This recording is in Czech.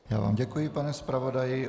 Já vám děkuji, pane zpravodaji.